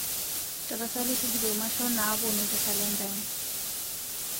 tapasali tujuto mashon napuonu te kalenda ai